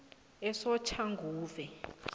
esoshanguve